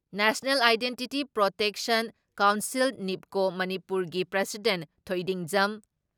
national identity protection council ꯅꯤꯞꯀꯣ ꯃꯅꯤꯄꯨꯔꯒꯤ president ꯊꯣꯏꯗꯤꯡꯖꯝ